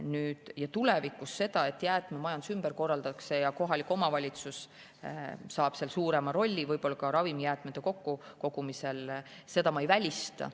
Nüüd, tulevikus seda, et jäätmemajandus ümber korraldatakse ja kohalik omavalitsus saab suurema rolli võib-olla ka ravimijäätmete kokkukogumisel, ma ei välista.